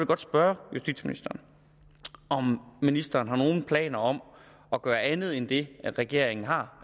godt spørge justitsministeren om ministeren har nogen planer om at gøre andet end det regeringen har